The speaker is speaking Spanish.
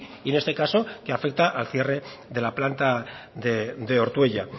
y en este caso que afecta al cierre de la planta de ortuella